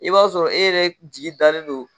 I b'a sɔrɔ e yɛrɛ jigi dalen don.